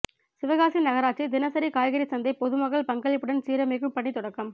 சிவகாசி நகராட்சி தினசரி காய்கறி சந்தை பொதுமக்கள் பங்களிப்புடன் சீரமைக்கும் பணி தொடக்கம்